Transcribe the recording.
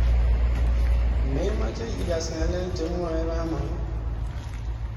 Memoche ikas ngalek che mwae Bamongo